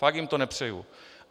Fakt jim to nepřeju.